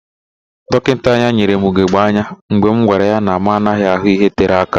Dọkịta anya nyere m ugegbe anya mgbe m gwara ya na mụ anaghị ahụ ihe tere aka.